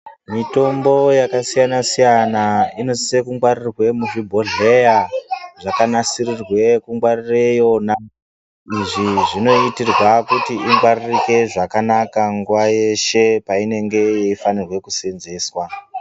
Mitombo yakasiyana siyana inosise kungwarirwe muzvibhodhleya zvakanasirirwe kungwarirw yona izvi zvinoitirwa kutiingwaririke zvakanaka nguwa yeshe painenge yaifanikirwe kusenzeswa.